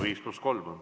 5 + 3 minutit.